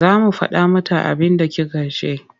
Za mu faɗa mata abinda kika ce.